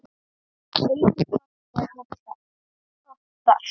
Einfalt er oft best.